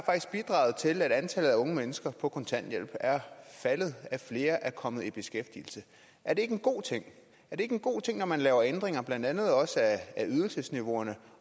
bidraget til at antallet af unge mennesker på kontanthjælp er faldet at flere er kommet i beskæftigelse er det ikke en god ting er det ikke en god ting at når man laver ændringer blandt andet af ydelsesniveauerne